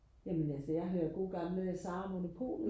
jamen altså jeg hører gode gamle Sara og Monopolet